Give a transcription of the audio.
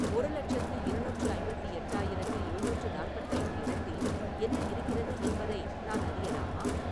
ஒரு இலட்சத்து இருநூற்று ஐம்பத்தி எட்டாயிரத்து எழுநூற்று நாற்பத்தைந்து இடத்தில் என்ன இருக்கிறது என்பதை நான் அறியலாமா